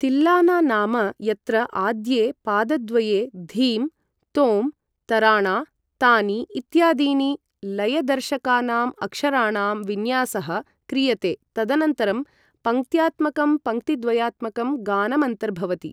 तिल्लाना नाम यत्र आद्ये पादद्वये धीम्, तोम्, तराणा, तानी इत्यादीनां लयदर्शकानामक्षराणां विन्यासः क्रियते तदनन्तरं पङ्क्त्यात्मकं पङ्क्तिद्वयात्मकं गानमन्तर्भवति।